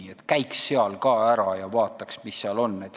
Mõtled, et käiks seal ka ära, vaataks, mis seal on.